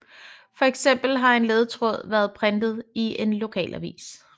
For eksempel har en ledetråd været printet i en lokalavis